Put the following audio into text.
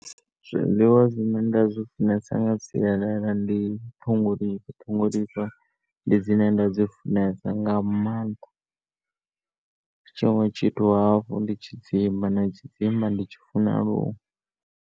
Zwiḽiwa zwine nda zwi funesa nga sialala ndi ṱhongolifha, ṱhongolifha ndi dzine nda dzi funesa nga maanḓa. Tshiṅwe tshithu hafhu ndi tshidzimba na tshidzimba ndi tshi funa luṅwe.